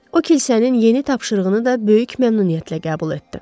O, kilsənin yeni tapşırığını da böyük məmnuniyyətlə qəbul etdi.